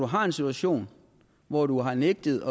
har en situation hvor du har nægtet